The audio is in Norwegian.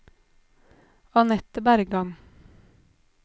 Anette Bergan